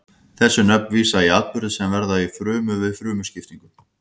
þessi nöfn vísa í atburði sem verða í frumu við frumuskiptingu